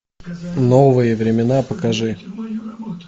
новые времена покажи